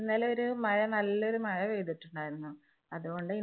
ഇന്നലെ ഒരു മഴ നല്ല ഒരു മഴ പെയ്തിട്ടുണ്ടായിരുന്നു. അതുകൊണ്ട്